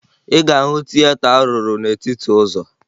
Ị ga-ahụ tieta a rụrụ n'etiti ụzọ